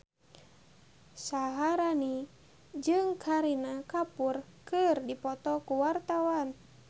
Syaharani jeung Kareena Kapoor keur dipoto ku wartawan